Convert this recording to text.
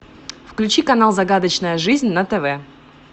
включи канал загадочная жизнь на тв